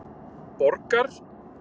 Borgar